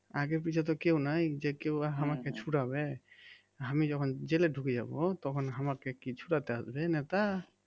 আগে পিছে তো কেউ নাই যে কেউ আমাকে ছুড়াবে আমি যখন জেলে ঢুকে যাবো তখন আমাকে কি ছুড়াতে আসবে নেতা?